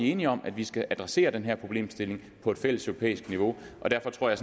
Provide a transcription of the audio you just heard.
enige om at vi skal adressere den her problemstilling på et fælleseuropæisk niveau og derfor tror jeg